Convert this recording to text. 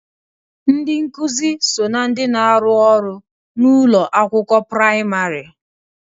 Ndị nkuzi so na ndị na-arụ ọrụ n'ụlọ akwụkwọ praịmarị.